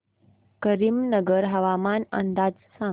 करीमनगर हवामान अंदाज सांग